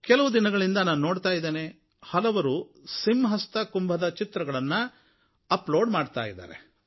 ಕೆಲವು ದಿನಗಳಿಂದ ನಾನು ನೋಡ್ತಾ ಇದ್ದೇನೆ ಹಲವರು ಸಿಂಹಸ್ಥ ಕುಂಭದ ಚಿತ್ರಗಳನ್ನು ಅಪ್ಲೋಡ್ ಮಾಡ್ತಾ ಇದ್ದಾರೆ